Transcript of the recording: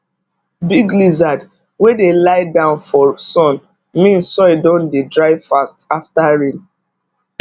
big lizard wey dey lie down for sun mean soil don dey dry fast after rain